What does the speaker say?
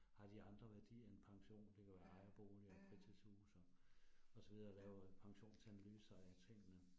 Har de andre værdier end pension det kan være ejerboliger og fritidshuse og og så videre, laver pensionsanalyser af tingene